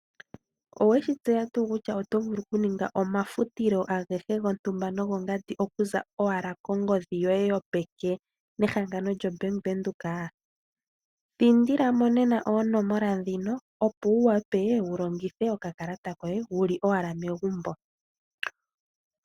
Owe shi tseya tuu kutya oto vulu okuninga omafutilo agehe gontumba nogo ngandi okuza owala kongodhi yoye yopeke nehangano lyombaanga yaVenduka? Thindila mo nena oonomola dhino opo wu wape wu longithe okakalata koye wu li owala megumbo.